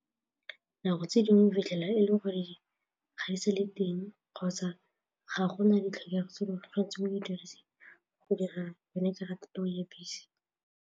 Nako tse dingwe fitlhela e le goreng ga ise le teng kgotsa ga go na ditlhokego tse di tshwanetseng go dira yone karata eo ya bese.